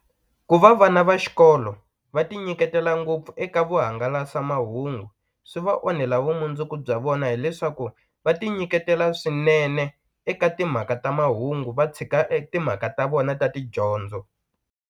Ku va vana va xikolo va ti nyiketela ngopfu eka vuhangalasamahungu swi va onhela vumundzuku bya vona hileswaku va ti nyiketela swinene eka timhaka ta mahungu va tshika e timhaka ta vona ta tidyondzo.